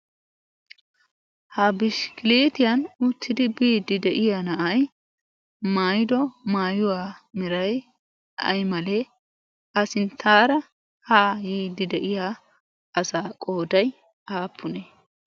ha bishkkilietiyan uttidi biiddi de'iya na'ay maydo maayuwaa mirai ai malee a sinttaara haa yiiddi de'iya asaa qooday aappunee?